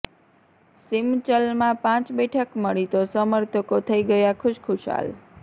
સીમંચલમાં પાંચ બેઠક મળી તો સમર્થકો થઈ ગયા ખુશખુશાલ